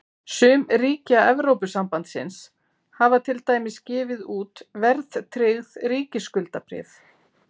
Sum ríkja Evrópusambandsins hafa til dæmis gefið út verðtryggð ríkisskuldabréf.